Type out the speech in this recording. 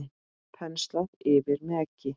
Penslað yfir með eggi.